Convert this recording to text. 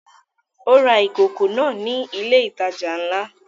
Ó ra ìkòkò náà ní ilé ìtajà ńlá